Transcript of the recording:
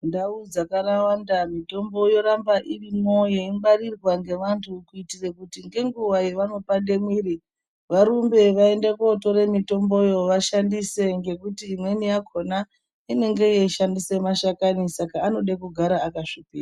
Ndau dzakawanda mitombo yoramba irimwo yeingwarirwa ngevandu kuitire ngenguwa yevano pande muiri varumbe vaende kootore mitomboyo vashandise ngekuti imweni yakona inenge yeishandise mashakani saka anode kugara akasvikirwa.